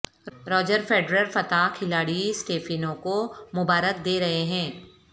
Roger Federer فاتح کھلاڑی Stefano کو مبارک دے رہے ہیں